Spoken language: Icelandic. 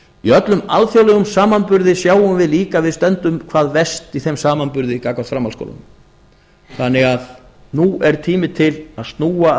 í öllum alþjóðlegum samanburði sjáum við líka að við stöndum hvað verst í þeim samanburði gagnvart framhaldsskólanum nú er því tími til að snúa af